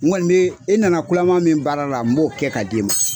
Kɔni be e nana kulama min baara la n b'o kɛ ka d'e ma